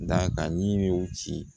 Da ka yiriw ci